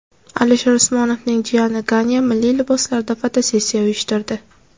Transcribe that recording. Alisher Usmonovning jiyani Ganya milliy liboslarda fotosessiya uyushtirdi .